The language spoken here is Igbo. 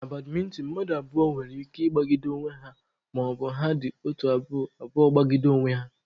Na badmịntịn, mmadụ abụọ nwere ike ịgbagide onwe ha maọbụ ha dị otu abụọ abụọ gbagide onwe ha.